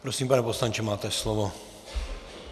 Prosím, pane poslanče, máte slovo.